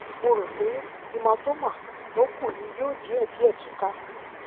mo rò pé hematoma tó kù ni yóò díẹdíẹ túká